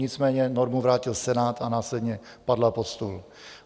Nicméně normu vrátil Senát a následně padla pod stůl.